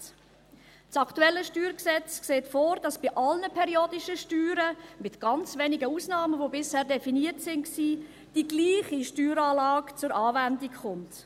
Das aktuelle StG sieht vor, dass bei periodischen Steuern – mit ganz wenigen Ausnahmen, die bisher definiert waren – Steueranlage zur Anwendung kommt.